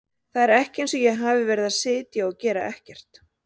Það er ekki eins og ég hafi verið að sitja og gera ekkert.